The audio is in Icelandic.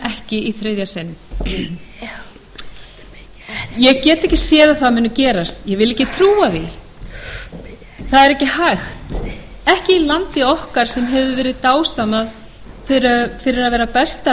ekki í þriðja sinn ég get ekki séð að það muni gerast vil ekki trúa því það er ekki hægt ekki í landi okkar sem hefur verið dásamað fyrir að vera besta